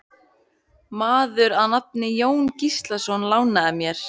Maður að nafni Jón Gíslason lánaði mér.